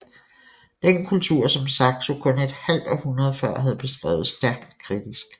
Den kultur som Saxo kun et halvt århundrede før havde beskrevet stærkt kritisk